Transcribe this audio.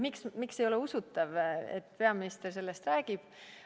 Miks ei ole usutav, et peaminister sellest räägib?